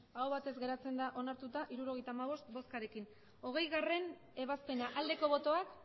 hirurogeita hamabost bai hirurogeita hamabost aho batez onartuta gelditzen da hirurogeita hamabost boskekin hogeigarrena ebazpena aldeko botoak